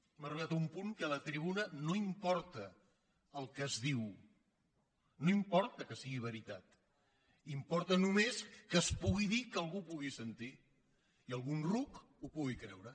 hem arribat a un punt en què a la tribuna no importa el que es diu no importa que sigui veritat importa només que es pu·gui dir i que algú ho pugui sentir i algun ruc ho pugui creure